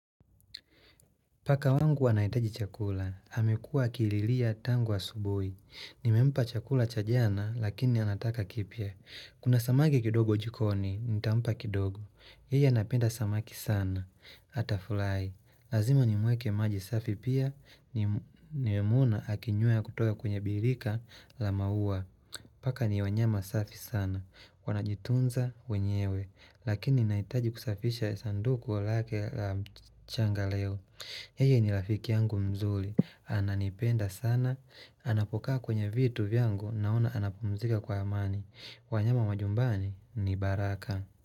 Paka wangu anahitaji chakula, amekuwa akililia tangu asubuhi. Nimempa chakula cha jana, lakini anataka kipya. Kuna samaki kidogo jikoni, nitampa kidogo. Yeye anapenda samaki sana. Atafurahi, lazima nimwekee maji safi pia nimemwona akinywa kutoka kwenye birika la maua. Paka ni wanyama safi sana. Wanajitunza wenyewe, lakini nahitaji kusafisha sanduku lake la mchanga leo. Yeye ni rafiki yangu mzuri. Ananipenda sana. Anapokaa kwenye vitu vyangu, naona anapumzika kwa amani. Wanyama majumbani ni baraka.